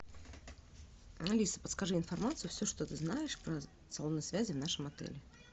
алиса подскажи информацию все что ты знаешь про салоны связи в нашем отеле